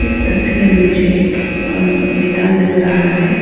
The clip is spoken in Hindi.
तस्वीर में मुझे एक मैदान नजर आ रहा है।